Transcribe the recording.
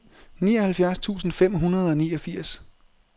nioghalvfjerds tusind fem hundrede og niogfirs